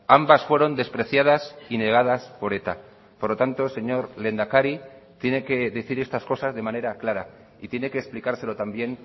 ambas fueron despreciadas y negadas por eta por lo tanto señor lehendakari tiene que decir estas cosas de manera clara y tiene que explicárselo también